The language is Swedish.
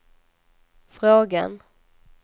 frågan